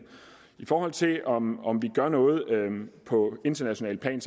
i forhold til om om vi gør noget på internationalt plan